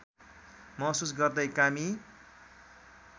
महसुस गर्दै कामी